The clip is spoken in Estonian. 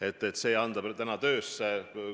Anname selle veel täna töösse.